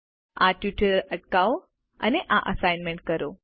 આ ટ્યુટોરીયલ અટકાવો અને આ અસાઈનમેન્ટ કરો